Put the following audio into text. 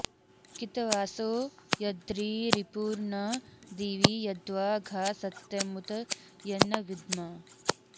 कि॒त॒वासो॒ यद्रि॑रि॒पुर्न दी॒वि यद्वा॑ घा स॒त्यमु॒त यन्न वि॒द्म